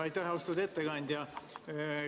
Aitäh, austatud ettekandja!